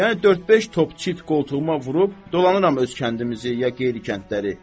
Yəni dörd-beş top çit qoltuğuma vurub, dolanıram öz kəndimizi ya qeyri kəndləri.